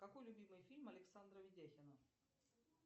какой любимый фильм александра видяхина